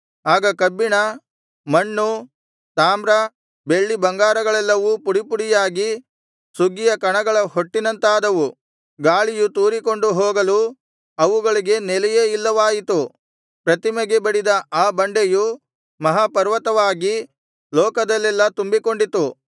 ಆಗ ಕಬ್ಬಿಣ ಮಣ್ಣು ತಾಮ್ರ ಬೆಳ್ಳಿ ಬಂಗಾರಗಳೆಲ್ಲವೂ ಪುಡಿಪುಡಿಯಾಗಿ ಸುಗ್ಗಿಯ ಕಣಗಳ ಹೊಟ್ಟಿನಂತಾದವು ಗಾಳಿಯು ತೂರಿಕೊಂಡು ಹೋಗಲು ಅವುಗಳಿಗೆ ನೆಲೆಯೇ ಇಲ್ಲವಾಯಿತು ಪ್ರತಿಮೆಗೆ ಬಡಿದ ಆ ಬಂಡೆಯು ಮಹಾ ಪರ್ವತವಾಗಿ ಲೋಕದಲ್ಲೆಲ್ಲಾ ತುಂಬಿಕೊಂಡಿತು